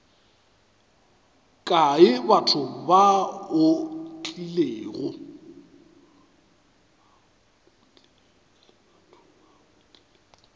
kae batho ba o tlilego